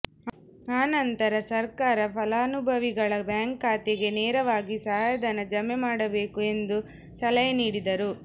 ಆನಂತರ ಸರ್ಕಾರ ಫಲಾನುಭವಿಗಳ ಬ್ಯಾಂಕ್ ಖಾತೆಗೆ ನೇರವಾಗಿ ಸಹಾಯ ಧನ ಜಮೆ ಮಾಡಬೇಕು ಎಂದು ಸಲಹೆ ನೀಡಿದರು